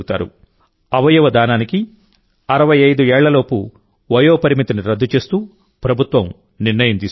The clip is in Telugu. అవయవదానానికి 65 ఏళ్లలోపు వయోపరిమితిని రద్దు చేస్తూ ప్రభుత్వం నిర్ణయం తీసుకుంది